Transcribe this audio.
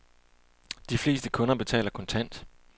De fleste kunder betaler kontant.